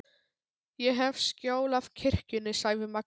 Ég hef skjól af kirkjunni, sagði Magnús.